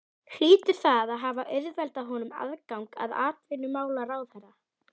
Hlýtur það að hafa auðveldað honum aðgang að atvinnumálaráðherra.